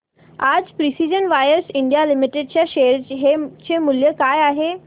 आज precision wires India limited च्या share चे मूल्य काय आहे